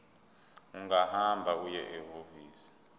ungahamba uye ehhovisi